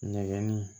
Nɛgɛnni